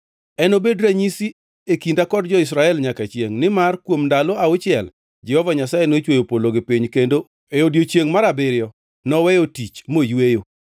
Enobed ranyisi e kinda kod jo-Israel nyaka chiengʼ nimar kuom ndalo auchiel Jehova Nyasaye nochweyo polo gi piny kendo e odiechiengʼ mar abiriyo noweyo tich moyweyo.’ ”